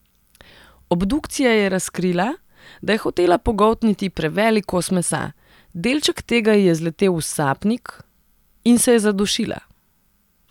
Obdukcija je razkrila, da je hotela pogoltniti prevelik kos mesa, delček tega ji je zletel v sapnik in se je zadušila.